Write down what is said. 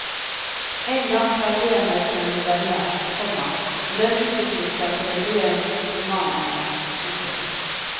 Engang prøvde jeg meg på en novelle, komma men den utviklet seg til bli et romanemne. punktum